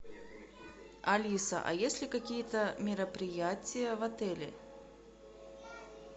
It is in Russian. алиса а есть ли какие то мероприятия в отеле